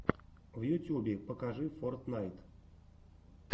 в ютюбе покажи фортнайт